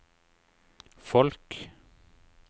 folk